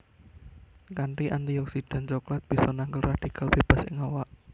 Kanthi antioksidan coklat bisa nangkal radikal bebas ing awak